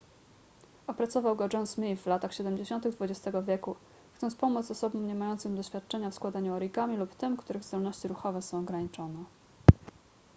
opracował go john smith w latach siedemdziesiątych xx wieku chcąc pomóc osobom niemającym doświadczenia w składaniu origami lub tym których zdolności ruchowe są ograniczone